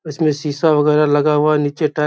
इसमें सीसा वगेरा लगा हुआ नीचे टाइ --